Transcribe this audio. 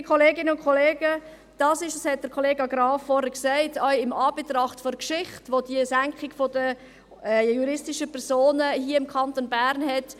Liebe Kolleginnen und Kollegen, das ist, wie auch der Kollega Graf vorhin sagte, eigentlich wirklich ein wichtiger Antrag, auch in Anbetracht der Geschichte, den die Senkung der Steuern für juristische Personen im Kanton Bern hat.